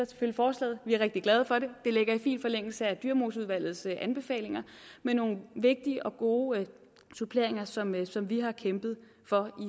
støtter forslaget vi er rigtig glade for det det ligger i fin forlængelse af dyremoseudvalgets anbefalinger med nogle vigtige og gode suppleringer som vi som vi har kæmpet for